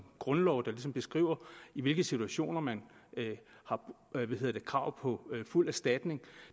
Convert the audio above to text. grundlov der ligesom beskriver i hvilke situationer man har krav på fuld erstatning